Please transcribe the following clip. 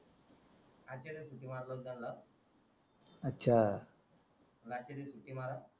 आजच्या दिवस सुट्टी मारलव त्यांना last च्या दिवस सुट्टी मारा